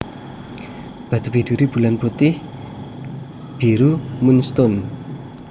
Batu biduri Bulan putih/biru moon stone